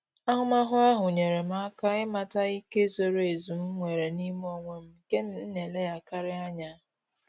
Ahụmahụ ahụ nyere m aka ịmata ike zoro ezu m nwere n'ime onwe m nke m na eleghakari anya